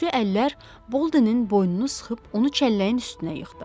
Güclü əllər Boldenin boynunu sıxıb onu çəlləyin üstünə yıxdı.